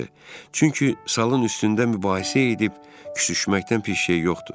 Çünki salın üstündə mübahisə edib küsüşməkdən pis şey yoxdur.